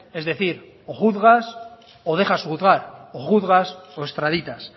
es decir o juzgas o dejas juzgar o juzgas o estraditas